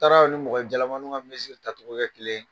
Taara anw ni mɔgɔ jalamanin ka tacogo kƐ kelen ye